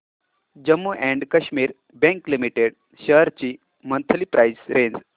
Jammu and Kashmir bank limited shares ची monthly price range